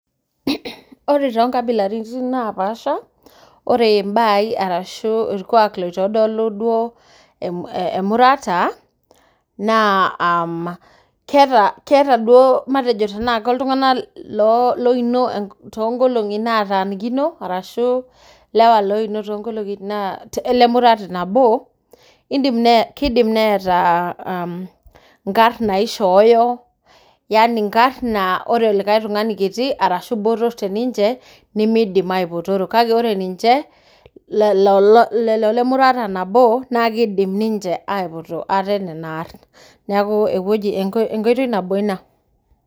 [Mh] ore tonkabilaritin naapasha ore mbaai arashu olkwaak loitodolu duo eh emurata naa uhm keeta, keeta duo matejo tenaake iltung'anak [loo] loino tonkolong'i naatanikino arashu lewa loino tonkolong'i naa le murata nabo indim nee kidim neetaa uhm inkarn naishooyo yani nkarn naa ore olikai tung'ani kiti arashu botorr teninche nemeidim aipotoro kake ore ninche le lol lelo lemurata nabo nakeidim ninche aipoto ate nena arn. Neaku epueji, enkoitoi nabo ina.